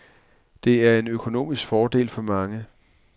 Det er en økonomisk fordel for mange.